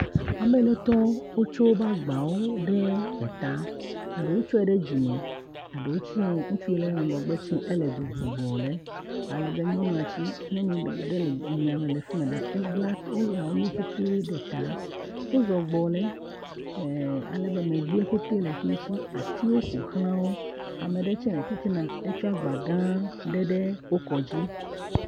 Amenetɔ wotsɔ woƒe agbawo ɖe eta, eɖewo tsɔe ɖe dzime, eɖewo tsie ŋutsu aɖe tsɔe le eɖu ŋum gbɔ ɖe, alebe nyɔnua tse nyɔnua tse nyɔnu ɖe le emiame ebla lé nu ɖe ta, wozɔ gbɔ ɖe alebe megbee petee le fi mi atiwo ƒoxla, alebe ame ɖe le titina etsɔ agba gã aɖe ɖe eta.